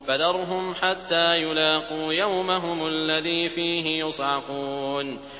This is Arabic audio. فَذَرْهُمْ حَتَّىٰ يُلَاقُوا يَوْمَهُمُ الَّذِي فِيهِ يُصْعَقُونَ